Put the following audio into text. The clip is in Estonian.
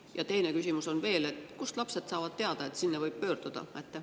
Ja teine küsimus on veel: kust saavad lapsed teada, et sinna võib pöörduda?